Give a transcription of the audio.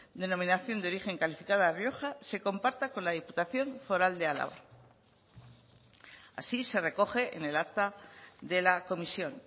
denominación de origen calificada rioja se comparta con la diputación foral de álava así se recoge en el acta de la comisión